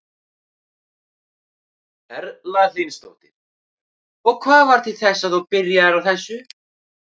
Erla Hlynsdóttir: Og hvað varð til þess að þú byrjaðir á þessu?